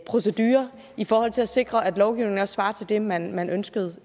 procedurer i forhold til at sikre at lovgivningen også svarer til det man man ønskede